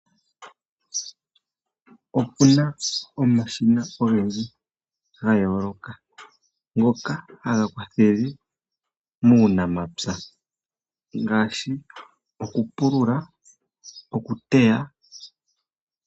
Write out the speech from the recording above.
Opu na omashina ogendji ga yooloka ngoka haga kwathele muunamapya ngaashi okupulula, okuteya.